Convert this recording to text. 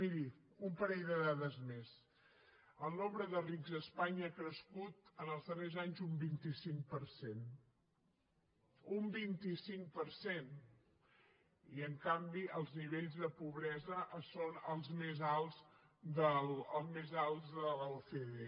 miri un parell de dades més el nombre de rics a espanya ha crescut en els darrers anys un vint cinc per cent un vint cinc per cent i en canvi els nivells de pobresa són els més alts de l’ocde